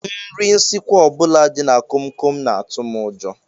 Nri nsikwa ọ bụla dị na komkom na-atụ m ụjọ